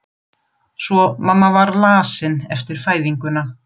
Svo mamma var lasin eftir fæðinguna.